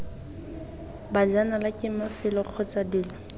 bajanala ke mafelo kgotsa dilo